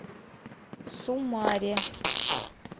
сумаре